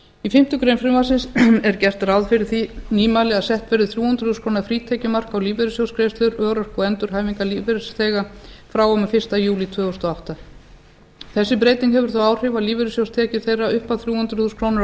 í fimmtu grein frumvarpsins er gert ráð fyrir því nýmæli að sett verði þrjú hundruð þúsund króna frítekjumark á lífeyrissjóðsgreiðslur örorku og endurhæfingarlífeyrisþega frá og með fyrsta júlí tvö þúsund og átta þessi breyting hefur þau áhrif að lífeyrissjóðstekjur þeirra upp að þrjú hundruð þúsund krónur á